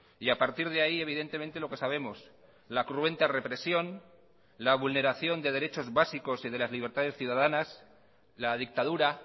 y a partir de ahí evidentemente lo que sabemos la cruenta represión la vulneración de derechos básicos y de las libertades ciudadanas la dictadura